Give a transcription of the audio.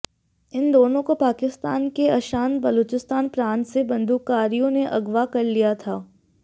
इन दोनों को पाकिस्तान के अशांत बलूचिस्तान प्रांत से बंदूकधारियों ने अगवा कर लिया था